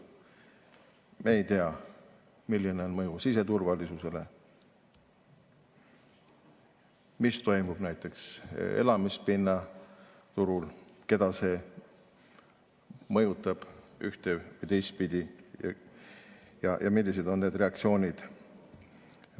Me ei tea, milline on mõju siseturvalisusele, mis toimub näiteks elamispinnaturul, keda see mõjutab ühte- või teistpidi ja millised on reaktsioonid.